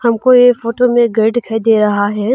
हमको ये फोटो में घर दिखाई दे रहा है।